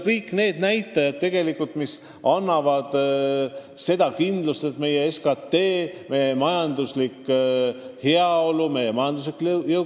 Kõik need näitajad annavad kindlust, et meie SKT kasvab, et meie majanduslik heaolu, meie jõukus suureneb.